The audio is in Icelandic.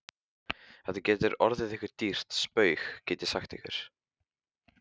Þetta getur orðið ykkur dýrt spaug, get ég sagt ykkur!